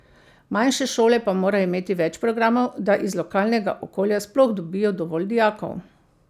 Manjše šole pa morajo imeti več programov, da iz lokalnega okolja sploh dobijo dovolj dijakov.